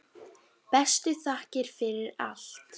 Bestu þakkir fyrir allt.